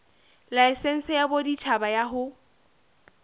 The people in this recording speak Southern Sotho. laesense ya boditjhaba ya ho